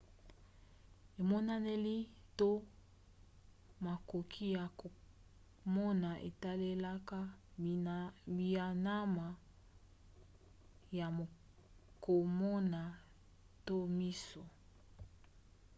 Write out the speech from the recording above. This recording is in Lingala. emonaneli to makoki ya komona etalelaka bianama ya komona to miso